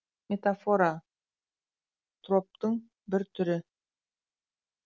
метафора троптың бір түрі